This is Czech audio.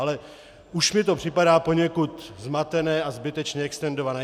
Ale už mi to připadá poněkud zmatené a zbytečně extendované.